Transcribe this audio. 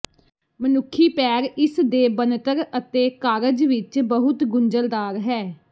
ਮਨੁੱਖੀ ਪੈਰ ਇਸਦੇ ਬਣਤਰ ਅਤੇ ਕਾਰਜ ਵਿਚ ਬਹੁਤ ਗੁੰਝਲਦਾਰ ਹੈ